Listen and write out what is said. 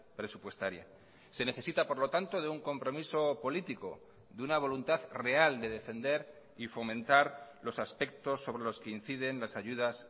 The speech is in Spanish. presupuestaria se necesita por lo tanto de un compromiso político de una voluntad real de defender y fomentar los aspectos sobre los que inciden las ayudas